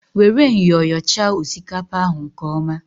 Were myọ yọchaa osikapa ahụ nke ọma!